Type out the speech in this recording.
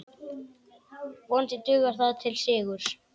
Vonandi dugar það til sigurs.